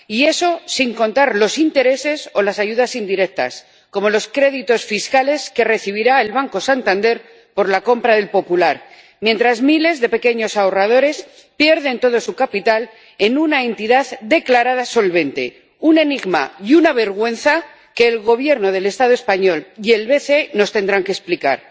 Y eso, sin contar los intereses o las ayudas indirectas, como los créditos fiscales que recibirá el Banco Santander por la compra del Popular, mientras miles de pequeños ahorradores pierden todo su capital en una entidad declarada solvente, un enigma y una vergüenza que el Gobierno del Estado español y el BCE nos tendrán que explicar.